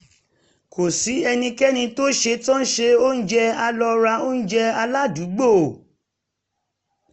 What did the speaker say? kò sí ẹnikẹ́ni tó setán se oúnjẹ a lọ ra oúnjẹ aládùúgbò